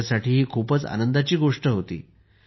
त्यांच्यासाठी ही खूपच आनंदाची गोष्ट होती